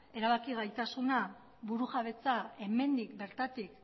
erabaki gaitasuna burujabetza hemendik bertatik